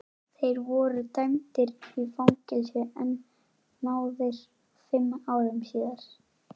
Þeir voru dæmdir í fangelsi en náðaðir fimm árum síðar.